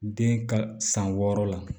Den ka san wɔɔrɔ la